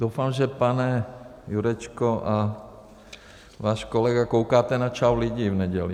Doufám, že, pane Jurečko, a váš kolega koukáte na Čau lidi v neděli.